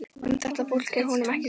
Um þetta fólk er honum ekki sama.